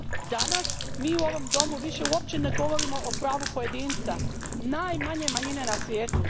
Danas mi u ovom domu više uopće ne govorimo o pravu pojedinca, najmanje manjine na svijetu.